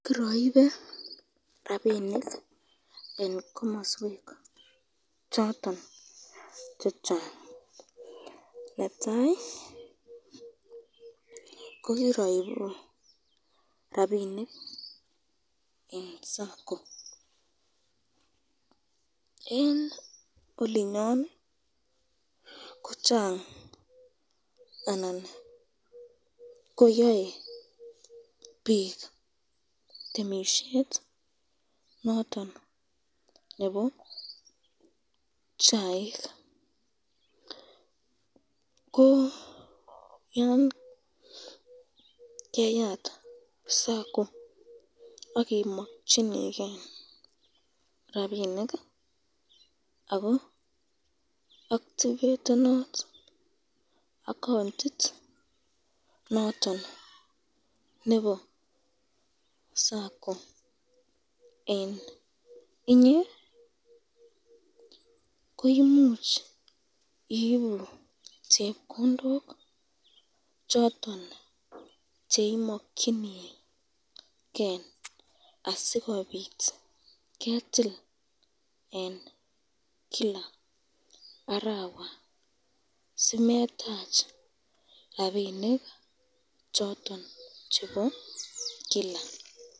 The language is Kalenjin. Kiraibe rapinik eng komaswek choton chechang, netai ko kiraibu rapinik eng sacco, olinyon ko Chang anan ko yae bik temisyet noton nebo chaik, ko yon keyat sacco akimakchinike rapinikako activetenat accountit noton nebo sacco eng inye, ko imuch iibu chepkondok choton chemakyinike asikobit ketil eng Kila arawa dimetsch rapinik choton chebo Kila.